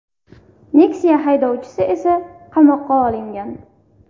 Nexia haydovchisi esa qamoqqa olingan.